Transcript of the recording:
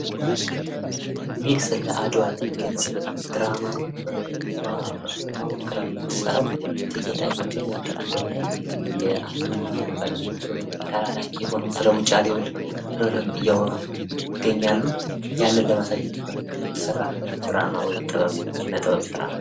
ይህ ስለ አድዋ የሚገልጽ ድራማ ነው ፤ እሱዋ ሴትዋ ወክላ የምትሰራው ኢቴጌን ሲሆን ወንዱ ደሞ አንቶኒዮን ተላላኪዉን ወክሎ ስለ ዉጫሌ ዉል እያወሩ ይገኛሉ ፤ ያንን ለማሳየት ታስቦ የተሰራ ነው።